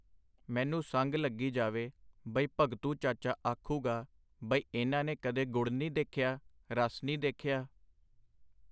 ਮੈਨੂੰ ਸੰਗ ਲੱਗੀ ਜਾਵੇ ਬਈ ਭਗਤੂ ਚਾਚਾ ਆਖੂਗਾ ਬਈ ਇਨ੍ਹਾਂ ਨੇ ਕਦੇ ਗੁੜ ਨੀ ਦੇਖਿਆ, ਰਸ ਨੀ ਦੇਖਿਆ.